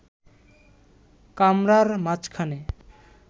কামরার মাঝখানে